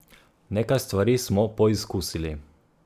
Nekaj stvari smo poizkusili.